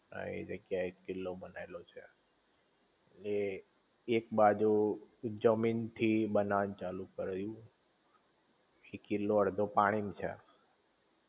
હા એ જગ્યા એ એક કિલ્લો બનેલોછે, એ એક બાજુ જમીન થી બનવા નું ચાલુ કર્યું કિલ્લો અડધો પાણી માંછે